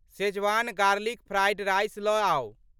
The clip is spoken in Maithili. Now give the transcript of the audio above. शेजवान गार्लिक फ्राइड राइस लऽ आउ।